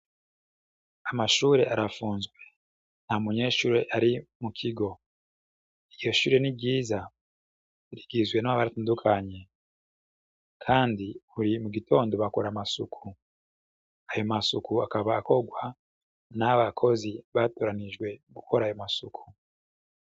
Amashure arafunzwe, nta munyeshure ari mu kigo, iryo shure ni ryiza, rigizwe atandukanye, kandi buri mu gitondo bakora amasuku, ayo masuku akaba akorwa n'abakozi bateganijwe gukora ayo masuku.